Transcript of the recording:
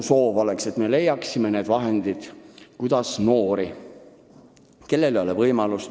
Sealt tuleb ainult teadmine!